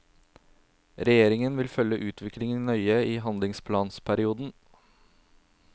Regjeringen vil følge utviklingen nøye i handlingsplanperioden.